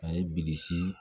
A ye bilisi